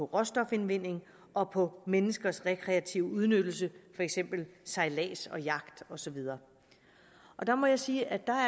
råstofindvinding og på menneskers rekreative udnyttelse for eksempel sejlads jagt og så videre der må jeg sige at der